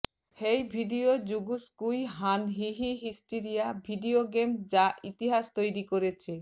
হেই ভিডিওজুগোস কুই হান হি হি হিস্টরিটিয়া ভিডিও গেমস যা ইতিহাস তৈরি করেছে